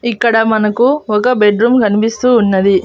ఇక్కడ మనకు ఒక బెడ్ రూమ్ కనిపిస్తూ ఉన్నది.